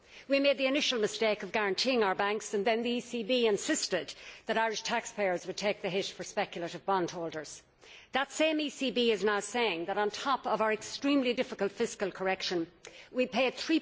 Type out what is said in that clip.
We made the initial mistake of guaranteeing our banks and then the ECB insisted that Irish taxpayers would take the hit for speculative bondholders. That same ECB is now saying that on top of our extremely difficult fiscal correction we must pay EUR